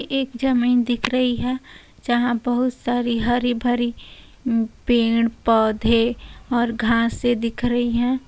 एक ज़मीन दिख रही है जहाँ बहुत सारी हरी भरी म्म पेड़ पौधे और घासें दिख रही हैं।